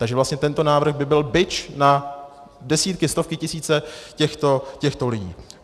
Takže vlastně tento návrh by byl bič na desítky, stovky, tisíce těchto lidí.